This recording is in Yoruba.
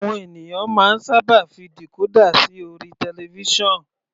Àwọn ènìyàn máa ń sábà fi decorder sí orí television.